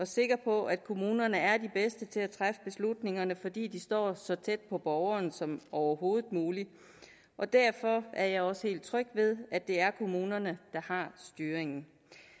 sikker på at kommunerne er de bedste til at træffe beslutningerne fordi de skal stå så tæt på borgerne som overhovedet muligt derfor er jeg også helt tryg ved at det er kommunerne der har styringen